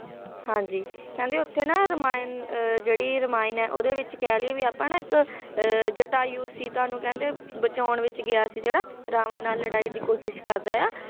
ਹਾਂਜੀ ਕਹਿੰਦੇ ਉੱਥੇ ਨਾ ਰਮਾਇਣ ਜਿਹੜੀ ਰਮਾਇਣ ਆ ਉਹਦੇ ਵਿੱਚ ਕਹਿ ਲੀਏ ਵੀ ਆਪਾਂ ਨਾ ਇੱਕ ਅਹ ਜ ਜਟਾਯੂ ਸੀਤਾ ਨੂੰ ਕਹਿੰਦੇ ਬਚਾਉਣ ਵਿੱਚ ਗਿਆ ਸੀ ਜਿਹੜਾ ਰਾਵਣ ਨਾਲ ਲੜਾਈ ਦੀ ਕੋਸ਼ਿਸ਼ ਕਰਦਾ ਐ ਆ